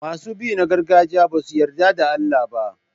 Masu bi na gargajiya ba su yarda da Allah ba.